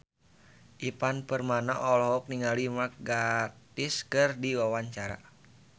Ivan Permana olohok ningali Mark Gatiss keur diwawancara